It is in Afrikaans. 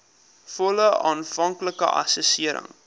volle aanvanklike assessering